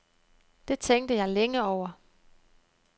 Det tænkte jeg længe over.